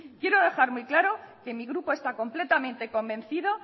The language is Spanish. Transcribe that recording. quiero dejar muy claro que mi grupo está completamente convencido